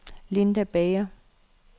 Linda Bager